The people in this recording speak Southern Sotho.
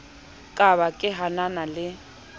ka ba ke hanana le